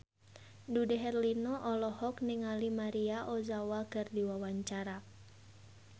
Dude Herlino olohok ningali Maria Ozawa keur diwawancara